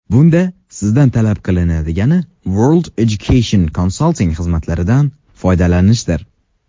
Bunda sizdan talab qilinadigani World Education Consulting xizmatlaridan foydalanishdir.